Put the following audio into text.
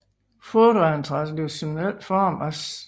Foto af en traditionel form af St